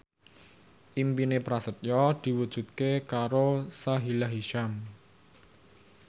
impine Prasetyo diwujudke karo Sahila Hisyam